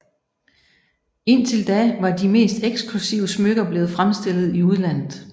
Indtil da var de mest eksklusive smykker blevet fremstillet i udlandet